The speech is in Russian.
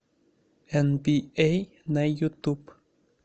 энбиэй на ютуб